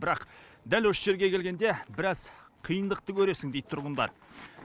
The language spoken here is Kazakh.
бірақ дәл осы жерге келгенде біраз қиындықты көресің дейді тұрғындар